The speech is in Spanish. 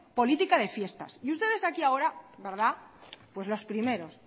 política de fiestas y ustedes aquí ahora verdad los primeros